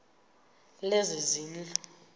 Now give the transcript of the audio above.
lezezindlu